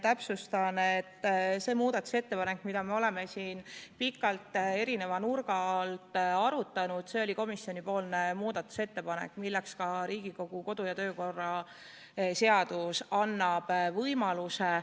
Täpsustan, et see muudatusettepanek, mida me oleme siin pikalt erineva nurga alt arutanud, oli komisjoni muudatusettepanek, mille esitamiseks Riigikogu kodu- ja töökorra seadus annab võimaluse.